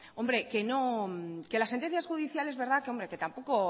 hombre que no que las sentencias judiciales que tampoco